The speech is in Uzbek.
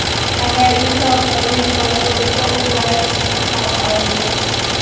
Agar insofi, vijdoni bo‘lsa, o‘zlari chiqsin xalq oldiga.